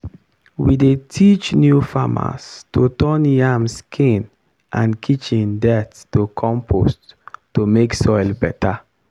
we dey teach new farmers to turn yam skin and kitchen dirt to compost to make soil better.